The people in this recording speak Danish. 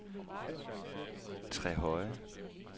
Trehøje